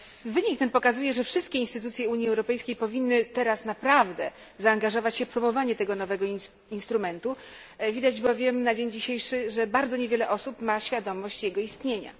Wynik ten pokazuje, że wszystkie instytucje Unii Europejskiej powinny teraz naprawdę zaangażować się w promowanie tego nowego instrumentu, widać bowiem na dzień dzisiejszy, że bardzo niewiele osób ma świadomość jego istnienia.